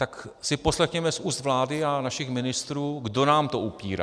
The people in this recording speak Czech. Tak si poslechněme z úst vlády a našich ministrů, kdo nám to upírá.